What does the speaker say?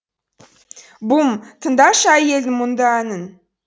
бум тыңдашы әйелдің мұңды әнін